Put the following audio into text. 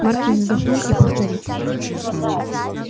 маркин вздохнул и повторил